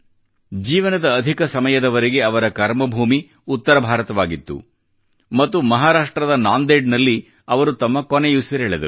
ಜೀವನದ ಅಧಿಕ ಸಮಯದವರೆಗೆ ಅವರ ಕರ್ಮ ಭೂಮಿ ಉತ್ತರ ಭಾರತವಾಗಿತ್ತು ಮತ್ತು ಮಹಾರಾಷ್ಟ್ರದ ನಾಂದೇಡ್ ನಲ್ಲಿ ಅವರು ತಮ್ಮ ಕೊನೆಯುಸಿರೆಳೆದರು